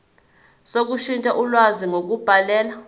sokushintsha ulwazi ngokubhalela